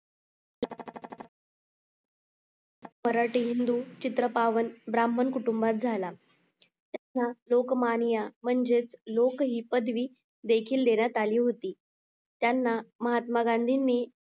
मराठी हिंदू चित्र पावन ब्राह्मण कुटूंबात झाला त्यांना लोकमान्य म्हणजेच लोक ही पदवी देखील देण्यात आली होती त्यांना महात्मा गांधीनी